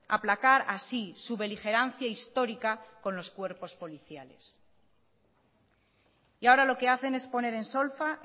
aplacar así su beligerancia histórica con los cuerpos policiales y ahora lo que hacen es poner en solfa